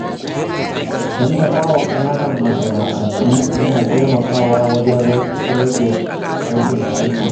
Tallafa wa ƙananan masana’antu yana taimakawa wajen rage rashin aikin yi.